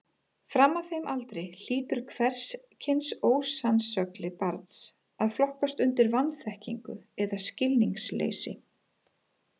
Fram að þeim aldri hlýtur hvers kyns ósannsögli barns að flokkast undir vanþekkingu eða skilningsleysi.